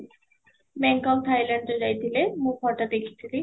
Bangkok Thailand ଯାଇଥିଲେ, ମୁଁ photo ଦେଖିଥିଲି